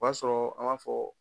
B'a sɔrɔ an b'a fɔ